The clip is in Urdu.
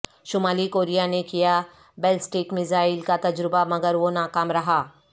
شمالی کوریا نے کیا بیلسٹک میزائل کا تجربہ مگر وہ ناکام رہا